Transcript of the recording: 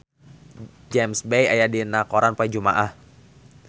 James Bay aya dina koran poe Jumaah